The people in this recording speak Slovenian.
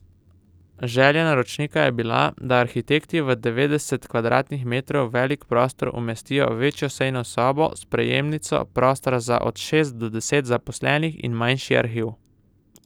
Želja naročnika je bila, da arhitekti v devetdeset kvadratnih metrov velik prostor umestijo večjo sejno sobo, sprejemnico, prostor za od šest do deset zaposlenih in manjši arhiv.